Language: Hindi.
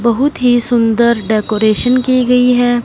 बहुत ही सुंदर डेकोरेशन की गई हैं।